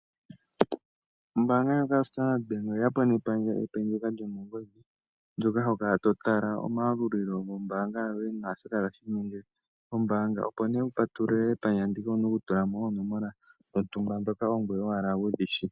Ombanga ndjoka yaStandard Bank oye ya po nepandja epe ndyoka lyomongodhi. Ndjoka ho kala to tala omayalulilo gombaanga yoye na shoka tashi inyenge kombanga. Opo wu patulule epandja ndika owu na okutula mo onomola dhontuma ndhoka ongweye owala wu dhi shi.